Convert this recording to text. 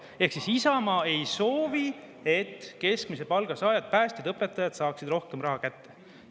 Ehk siis Isamaa ei soovi, et keskmise palga saajad – päästjad, õpetajad – saaksid rohkem raha kätte.